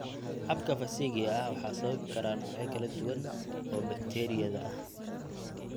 Xabka fasikiga ah waxaa sababi kara noocyo kala duwan oo bakteeriyada ah.